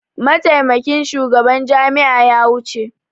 Mataimakin shugaban jami'a ya wuce.